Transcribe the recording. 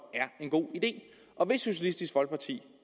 er en god idé og hvis socialistisk folkeparti